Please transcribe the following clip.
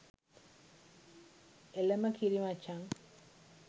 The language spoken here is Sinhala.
එලම කිරි මචං